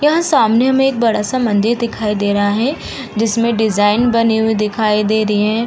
यहां सामने हमे बड़ा सा मंदिर दिखाई दे रहा है। जिसमे डिजाइन बने हुए दिखाई दे रहे हैं।